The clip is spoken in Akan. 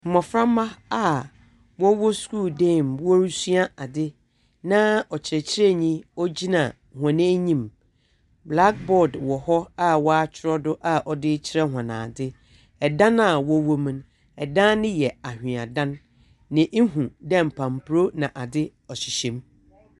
Mboframba a wɔwɔ skuul dan mu na ɔkyerɛkyerɛnyi gyina hɔn enyim, blackboard wɔ hɔ a wɔakyerɛw do a ɔdze rekyerɛ hɔn adze. Dan a wɔwɔ mu no yɛ anhwea dan, na ihu dɛ nkampor na adze ɔhyehyɛ mu.